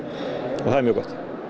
og það er mjög gott